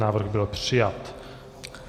Návrh byl přijat.